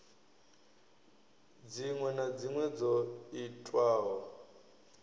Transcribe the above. dziṅwe na dziṅwe dzo itwaho